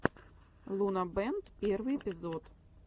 лунабэнд первый эпизод